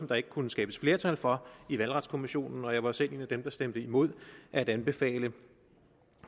der ikke kunne skabes flertal for i valgretskommissionen og jeg var selv en af dem der stemte imod at anbefale